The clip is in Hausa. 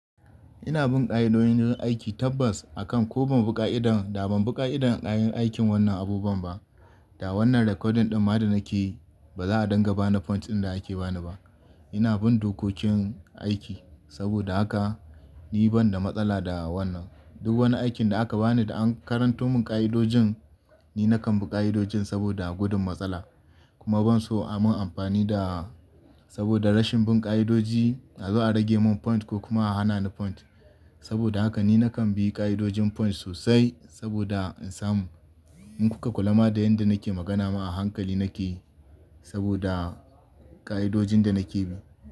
Ina bin ƙa'idodin yin aiki tabbas akan ko ban bi ƙa'idar da ban bi ƙa'idar aikin wannan abubuwan ba, da wannan recording ɗin ma da nake yi ba za a dinga bani point ɗin da ake bani ba. Ina bin dokokin aiki saboda haka ni ban da matsala da wannan. Duk wani aikin da aka bani da an karanto mun ƙa'idodin, ni na kan bi ƙa'idodin saboda gudun matsala. Kuma ban so a mun amfani da saboda rashin bin ƙa'idodi a zo a rage mun point ko kuma a hana ni point. Saboda haka ni na kan bi ƙa'idodin points sosai saboda in samu. In kuka kula ma da yadda nake magana ma a hankali nake yi saboda ƙa'idojin da nake bi.